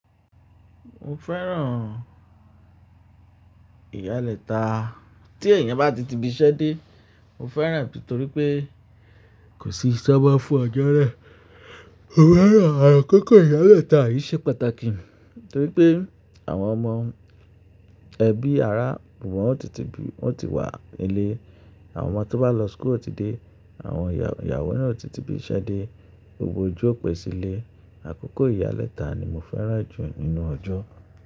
Mo fẹ́ràn ìyálẹ́ta tí èèyàn bá ti ti ibiṣẹ́ dé, mo fẹ́ràn nítorí pé kò sí iṣẹ́ mó fún ọjọ́ naa. Mo fẹ́ràn, àkókò ìyálẹ́ta yìí ṣe pàtàkì torí pé àwọn ọmọ ẹbí, ará, wọ́n ti wà nílé. Àwọn ọmọ tó bá lọ school o ti dé, àwọn ìyàwó náà o ti tibi iṣẹ́ dé, gbogbo ojú ò pé sílé. Àkókò ìyálẹ́ta ni mo fẹ́ràn jù nínú ọjọ́.